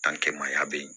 Dankɛmaya bɛ yen